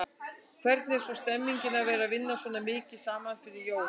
Hvernig er svona stemningin að vera vinna svona mikið saman fyrir jól?